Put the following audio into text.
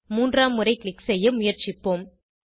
மூன்றாம் முறை க்ளிக் செய்ய முயற்சிப்போம்